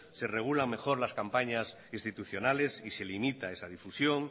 se regulan mejor las campañas institucionales y se limita esa difusión